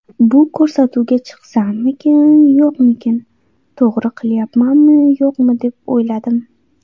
Bu ko‘rsatuvga chiqsammikan, yo‘qmikan, to‘g‘ri qilyapmanmi, yo‘qmi, deb o‘yladim.